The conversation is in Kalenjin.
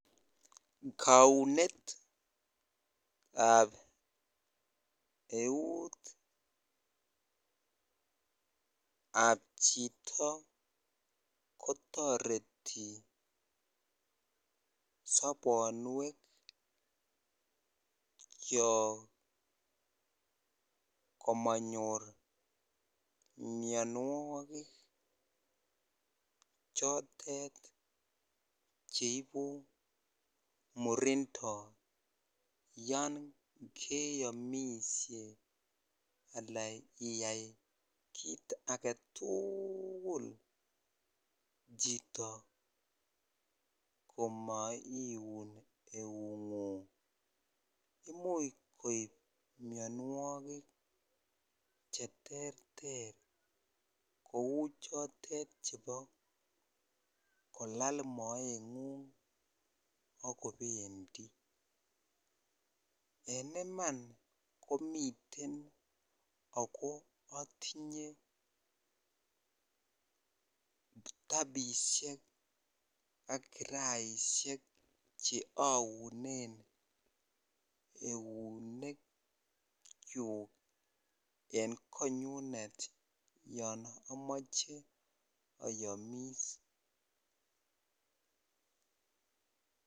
Kounetab eut ab chito kotoreti sobonwekyok komonyor mianwogik chotet cheibu murindoo yon keamishe alan iyai kit agetuugul chito komoiun eugung imuch koib mianwogik cheterter kou chotet chepo kolal moeng'ung akobendii en iman komiten ako atinyea tapisiek ak kiraiseik che aunen eunekyuk en konyunet yon amoche ayomis.